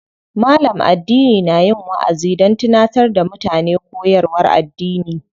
Malam addini na yin waʼazi don tunatar da mutane koyarwar addini.